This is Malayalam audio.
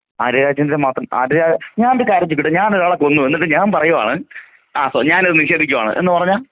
ആര്യ രാജേന്ദ്രൻ മാത്രം ആര്യ ഞാനൊരു കാര്യം ചോദിക്കട്ടെ ഞാൻ ഒരാളെ കൊന്നു എന്നിട്ട് ഞാൻ പറയുകയാണ് ആ ഞാൻ അത് നിഷേധിക്കുകയാണ് എന്നു പറഞ്ഞാ.